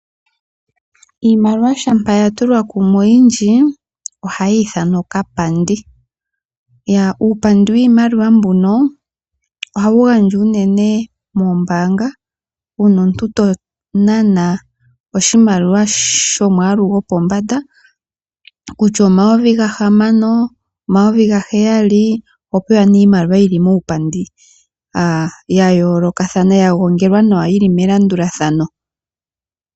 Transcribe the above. Iimaliwa shampa ya tulwa kumwe oyindji ohayi ithanwa okapandi. Uupandi wiimaliwa mbuno ohawu gandjwa unene moombaanga uuna omuntu to nana oshimaliwa shomwaalu gopombanda kutya omayovi gahamano, omayovi gaheyali oho pewa nee iimaliwa yi li muupandi ya yoolokathana ya gongelwa nawa yi li melandulathano.